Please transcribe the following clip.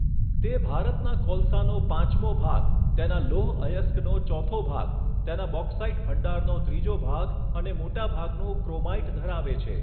તે ભારતના કોલસાનો પાંચમો ભાગ, તેના લોહ અયસ્કનો ચોથો ભાગ, તેના બોક્સાઈટ ભંડારનો ત્રીજો ભાગ અને મોટાભાગનું ક્રોમાઈટ ધરાવે છે.